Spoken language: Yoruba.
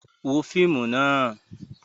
Wo fíìmù náà!